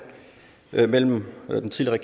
mellem den tidligere